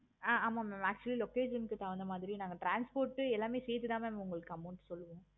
ஆஹ் ஆமா ma'am actually location க்கு தகுந்த மாதிரி நாங்க transport எல்லாமே சேர்த்து தான் ma'am உங்களுக்கு amount சொல்லுவோம்.